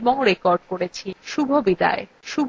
শুভবিদায়